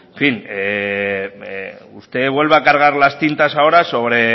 fin usted vuelve a cargar las tintas ahora sobre